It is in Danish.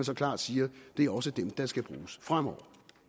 så klart siger det er også dem der skal bruges fremover